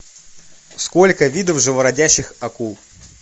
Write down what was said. сколько видов живородящих акул